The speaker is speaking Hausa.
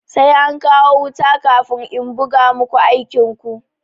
Sai an kawo wuta kafin in buga muku aikin ku.